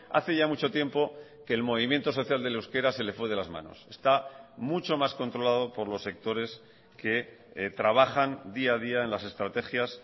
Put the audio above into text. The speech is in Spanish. hace ya mucho tiempo que el movimiento social del euskera se le fue de las manos está mucho más controlado por los sectores que trabajan día a día en las estrategias